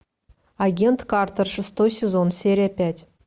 агент картер шестой сезон серия пять